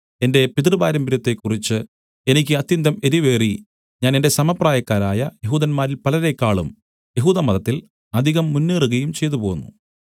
എന്റെ പിതൃപാരമ്പര്യത്തെക്കുറിച്ച് എനിക്ക് അത്യന്തം എരിവേറി ഞാൻ എന്റെ സമപ്രായക്കാരായ യെഹൂദന്മാരിൽ പലരേക്കാളും യെഹൂദമതത്തിൽ അധികം മുന്നേറുകയും ചെയ്തുപോന്നു